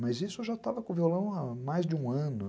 Mas isso eu já estava com o violão há mais de um ano.